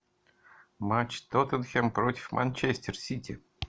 матч тоттенхэм против манчестер сити